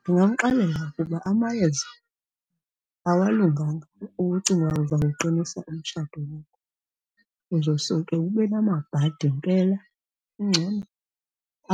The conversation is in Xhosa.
Ndingamxelela ukuba amayeza awalunganga uba ucinga uzawuqinisa umtshato wakho. Uza suke ube namabhadi mpela. Kungcono